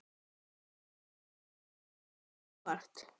Er það eitthvað sem kemur þér á óvart?